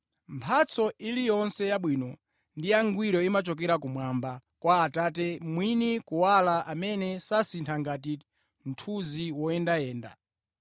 Mphatso iliyonse yabwino ndi yangwiro imachokera kumwamba, kwa Atate mwini kuwala, amene sasintha ngati mthunzi woyendayenda.